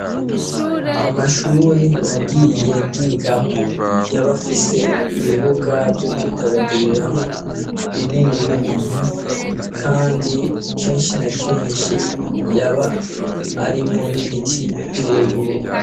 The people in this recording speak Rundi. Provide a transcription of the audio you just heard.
amashuri nagiye ndigamo yaba afise ibibuga byo kwidagaduriramo binini binini kandi kenshi na kenshi yaba arimo n'ibiti birebire